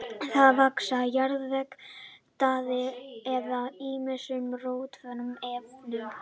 Þeir vaxa á jarðvegi, taði eða ýmsum rotnandi efnum.